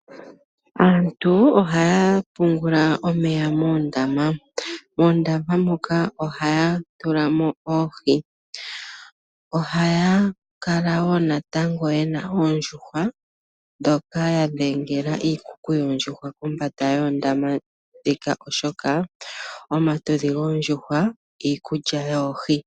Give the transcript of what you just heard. Aantu ohaya pungula omeya moondama, moondama moka ohaya tula mo oohi, ohaya kala woo natango ye na oondjuhwa ndhoka ya dhengela iikuku yoondjuhwa pombanda yoondama ndhika oshoka omatudhi goondjuhwa iikulya yoohi.